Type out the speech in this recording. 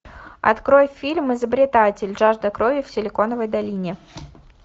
открой фильм изобретатель жажда крови в силиконовой долине